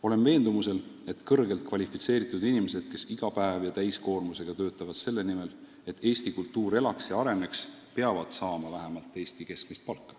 Olen veendumusel, et kõrgelt kvalifitseeritud inimesed, kes iga päev ja täiskoormusega töötavad selle nimel, et Eesti kultuur elaks ja areneks, peavad saama vähemalt Eesti keskmist palka.